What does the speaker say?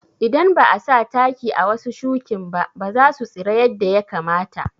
Idan ba'a sa taki a wasu shukinba basu tsira yadda ya kamata